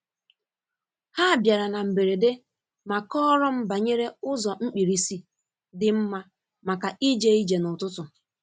Ha bịara na mberede ma kọọrọ m banyere ụzọ mkpirisi dị mma maka ije ije n’ututu.